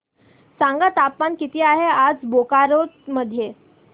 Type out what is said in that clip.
सांगा तापमान किती आहे आज बोकारो मध्ये